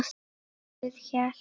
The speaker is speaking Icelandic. Gosinn hélt.